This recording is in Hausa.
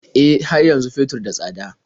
E, har yanzu fetur da tsada.